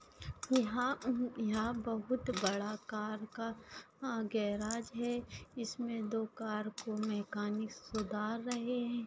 यहाँ अम यहाँ बहुत बड़ा कार का गेराज है इसमे दो कार को मेकैनिक सुधार रहे है।